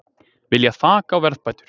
Vilja þak á verðbætur